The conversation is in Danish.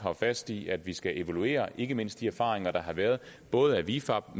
fast i at vi skal evaluere ikke mindst de erfaringer der har været af vifab